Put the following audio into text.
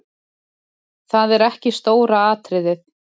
Það er ekki stóra atriðið.